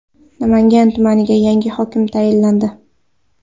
Namangan tumaniga yangi hokim tayinlandi.